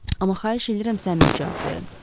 Amma xahiş edirəm səmimi cavab verin.